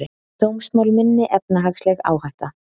Dómsmál minni efnahagsleg áhætta